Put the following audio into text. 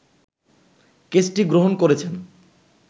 কেসটি গ্রহণ করেছেন